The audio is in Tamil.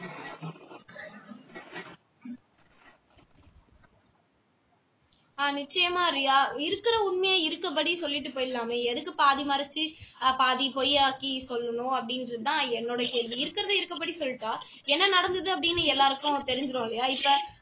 ஆஹ் நிச்சயமா ரியா இருக்குற உண்மையை இருக்கபடி சொல்லிட்டு போயிடலாமே எதற்கு பாதி மறைச்சு ஆஹ் பாதி பொய்யாக்கி சொல்லணும் அப்படின்றது தான் என்னோட கேள்வி இருக்கிறதை இருக்கிறபடி சொல்லிட்டா என்ன நடந்தது அப்படின்னு எல்லாருக்கும் தெரிஞ்சிரும் இல்லையா இப்போ